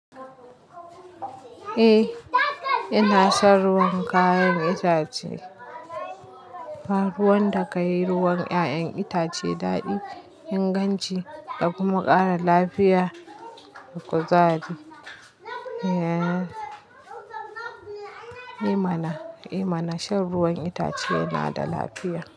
Eh, ina shan ruwan kayan itace. Ruwan da ka yi ruwan 'ya'yan itace daɗi, inganci da kuma ƙara lafiya da kuzari. Eh mana, shan ruwan itace yana da lafiya.